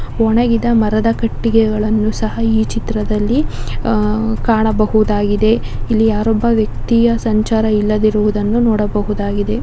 ಒಣಗಿದ ಮರದ ಕಟ್ಟಿಗೆಗಳನ್ನೂ ಸಹ ಈ ಚಿತ್ರದಲ್ಲಿ ಅಹ್ ಕಾಣಬಹುದಾಗಿದೆ. ಇಲ್ಲಿ ಯಾರೊಬ್ಬ ವ್ಯಕ್ತಿಯ ಸಂಚಾರ ಇಲ್ಲದಿರುವದಿರುವದನ್ನು ನೋಡಬಹುದಾಗಿದೆ.